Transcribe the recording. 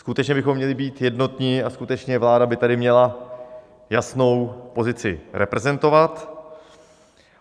Skutečně bychom měli být jednotní a skutečně vláda by tady měla jasnou pozici reprezentovat.